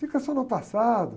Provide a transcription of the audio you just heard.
Fica só no passado.